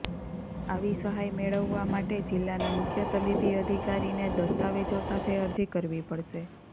આવી સહાય મેળવવા માટે જિલ્લાના મુખ્ય તબીબી અધિકારીને દસ્તાવેજો સાથે અરજી કરવી પડશે